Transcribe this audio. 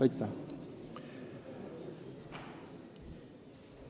Aitäh!